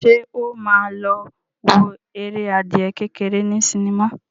Ṣé ó ma lọ wo eré adìyẹ kékeré ní sinimá?